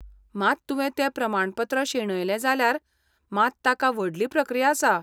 मात तुवें तें प्रमाणपत्र शेणयलें जाल्यार मात ताका व्हडली प्रक्रिया आसा.